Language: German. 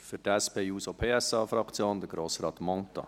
Für die SP-JUSO-PSA-Fraktion, Grossrat Mentha.